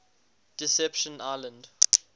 deception island